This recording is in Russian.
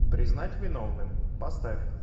признать виновным поставь